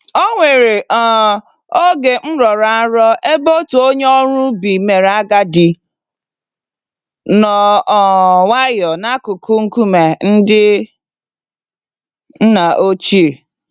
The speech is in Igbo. Onwere um oge m rọrọ nrọ ebe otu onye ọrụ ubi mèrè agadi, nọ um nwayọ n'akụkụ nkume ndị nna ochie.